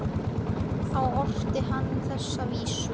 Þá orti hann þessa vísu